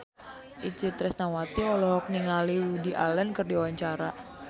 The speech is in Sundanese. Itje Tresnawati olohok ningali Woody Allen keur diwawancara